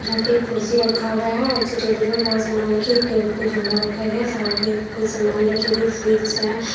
जहां पे एक कुर्सी रखा हुआ है और उसके टेबल पर बहोत सामान रखी एक टेबल पर झोला रखा गया है साथ में कुछ सामान रखे गए स्वीट्स है।